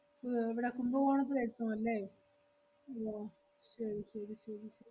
ഏർ എവടാ കുംഭകോണത്തില് എത്തും അല്ലേ? ആഹ് ശെരി ശെരി ശെരി ശെ~